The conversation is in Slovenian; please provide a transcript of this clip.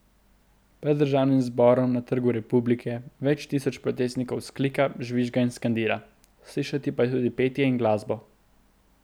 Pred državnim zborom na Trgu republike več tisoč protestnikov vzklika, žvižga in skandira, slišati pa je tudi petje in glasbo.